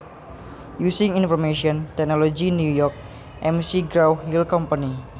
Using Information Technology New York McGraw Hill Company